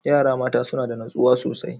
Yara mata suna da natsuwa sosai.